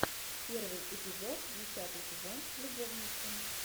первый эпизод десятый сезон любовницы